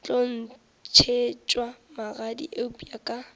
tlo ntšhetšwa magadi eupša ka